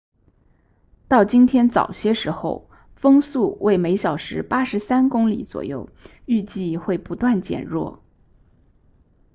到今天早些时候风速为每小时83公里左右预计会不断减弱